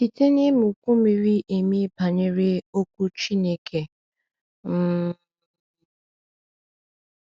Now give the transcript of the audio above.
Site n’ịmụkwu miri emi banyere Okwu Chineke. um